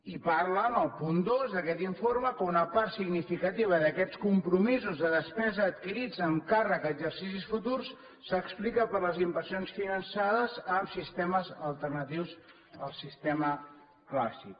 i parla en el punt dos d’aquest informe que una part significativa d’aquests compromisos de despesa adquirits amb càrrec a exercicis futurs s’explica per les inversions finançades amb sistemes alternatius al sistema clàssic